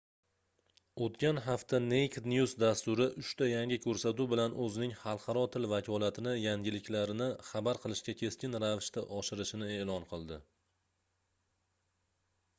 oʻtgan hafta naked news dasturi uchta yangi koʻrsatuv bilan oʻzining xalqaro til vakolatini yangiliklarni xabar qilishga keskin ravishda oshirishini eʼlon qildi